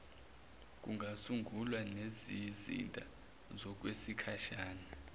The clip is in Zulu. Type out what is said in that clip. kungasungulwa nezizinda zokwesikhashana